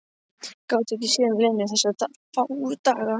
Gátuði ekki séð um Lenu þessa fáu daga?